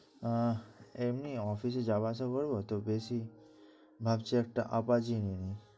আহ এমনি office এ যাবা আসা করবো তো দেখি ভাবছি একটা Apache নিয়ে নিই।